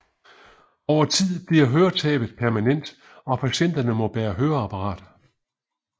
Over tid bliver høretabet permanent og patienterne må bære høreapparat